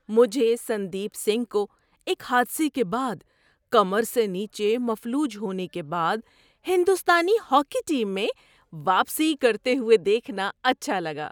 مجھے سندیپ سنگھ کو ایک حادثے کے بعد کمر سے نیچے مفلوج ہونے کے بعد ہندوستانی ہاکی ٹیم میں واپسی کرتے ہوئے دیکھنا اچھا لگا۔